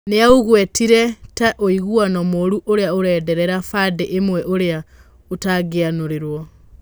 Nĩ aũgwetire ta ũiguano mũru ũrĩa ũrenderera bandĩ ĩmwe ũrĩa ũtangĩaiguanĩirwo.